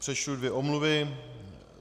Přečtu dvě omluvy.